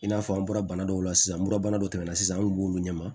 I n'a fɔ an bɔra bana dɔw la sisan murabana dɔ tɛmɛna sisan an kun b'olu ɲɛma